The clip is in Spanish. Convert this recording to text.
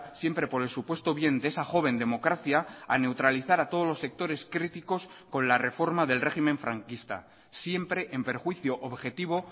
siempre por el supuesto bien de esa joven democracia a neutralizar a todos los sectores críticos con la reforma del régimen franquista siempre en perjuicio objetivo